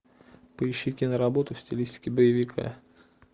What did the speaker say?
поищи киноработу в стилистике боевика